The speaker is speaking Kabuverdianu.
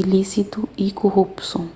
ilísitu y kurupson